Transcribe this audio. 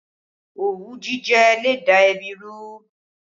Òwú jíjẹ le da ẹbí rú